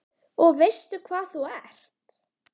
Og veistu hvað þú ert?